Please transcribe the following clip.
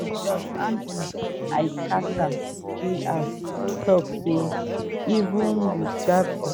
but judge andrew l carter jr tok say even wit dat oga